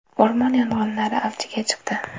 O‘rmon yong‘inlari avjiga chiqdi.